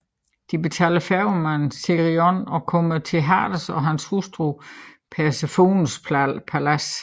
De betaler færgemanden Cherion og kommer til Hades og hans hustru Persefones palads